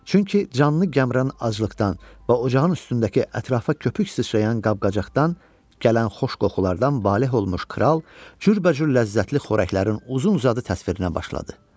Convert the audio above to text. Çünki canlı Qəmran aclıqdan və ocağın üstündəki ətrafa köpük sıçrayan qab-qacaqdan gələn xoş qoxulardan valeh olmuş kral cürbəcür ləzzətli xörəklərin uzun-uzadı təsvirinə başladı.